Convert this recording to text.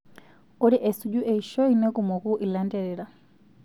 Ore esuju eishioi nekumoku ilanterera.